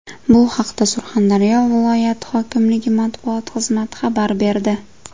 Bu haqda Surxondaryo viloyati hokimligi matbuot xizmati xabar berdi .